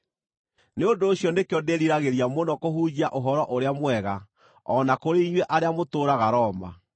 Nĩ ũndũ ũcio nĩkĩo ndĩriragĩria mũno kũhunjia Ũhoro-ũrĩa-Mwega o na kũrĩ inyuĩ arĩa mũtũũraga Roma.